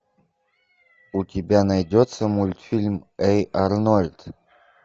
у тебя найдется мультфильм эй арнольд